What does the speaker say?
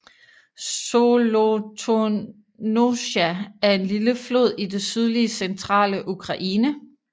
Zolotonosja er en lille flod i det sydlige centrale Ukraine